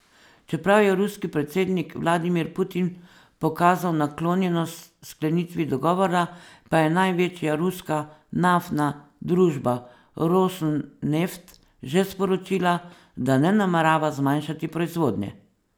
Čeprav je ruski predsednik Vladimir Putin pokazal naklonjenost sklenitvi dogovora, pa je največja ruska naftna družba Rosneft že sporočila, da ne namerava zmanjšati proizvodnje.